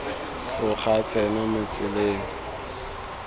tloga a tsena mo tseleng